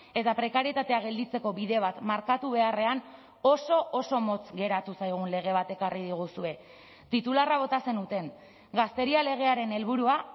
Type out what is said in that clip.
eta prekarietatea gelditzeko bide bat markatu beharrean oso oso motz geratu zaigun lege bat ekarri diguzue titularra bota zenuten gazteria legearen helburua